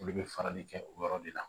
Olu bɛ farali kɛ o yɔrɔ de la